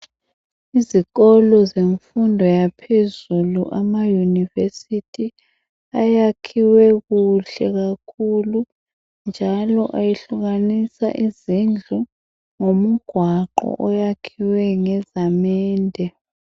izikolo zemfundo yaphezulu ama university ayakhiwe kuhle kakhulu njalo ayehlukanisa izindlu ngemigwaqo oyakhiwe ngezamende